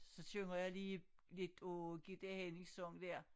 Så synger jeg lige lidt af Gitte Hænnings sang dér